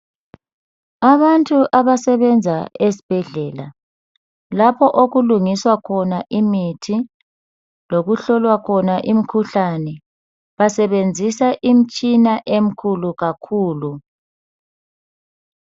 Abantu abasebenza esibhedlela lapho okulungiswa khona imithi lokuhlolwa khona imikhuhlane basebenzisa imitshina emkhulu kakhulu.